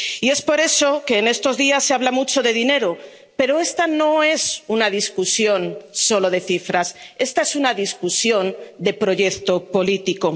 Y por eso en estos días se habla mucho de dinero, pero esta no es una discusión solo de cifras esta es una discusión de proyecto político.